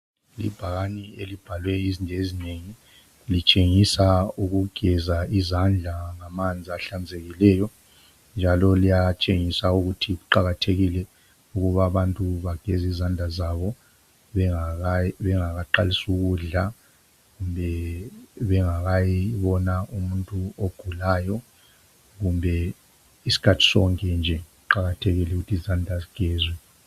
Ibhakane elibhalwe izinto ezinengi litshengisa ukugeza izandla ngamanzi ahlanzekileyo njalo liyatshengisa ukuthi kuqakathekile ukuba abantu bageze izandla zabo bengakaqalisi ukudla kumbe bengakayibona umuntu ogulayo kumbe isikhathi sonke nje. Kuqakathekile ukuthi izandla zigezwe.